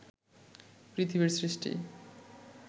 পৃথিবীর সৃষ্টি